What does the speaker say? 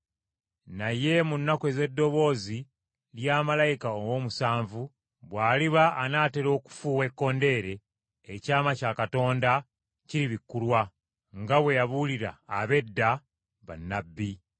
Naye mu nnaku ez’eddoboozi lya malayika ow’omusanvu, bw’aliba anaatera okufuuwa ekkondeere, ekyama kya Katonda kiribikkulwa, nga bwe yabuulira abaddu be, bannabbi.”